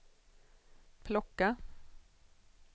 plocka